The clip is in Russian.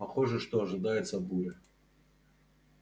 похоже что ожидается буря